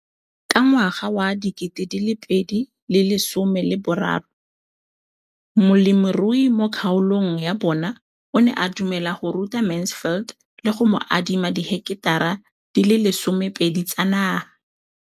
Ka ngwaga wa 2013, molemirui mo kgaolong ya bona o ne a dumela go ruta Mansfield le go mo adima di heketara di le 12 tsa naga.